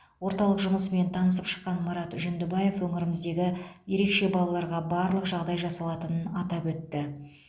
орталық жұмысымен танысып шыққан марат жүндібаев өңіріміздегі ерекше балаларға барлық жағдай жасалатынын атап өтті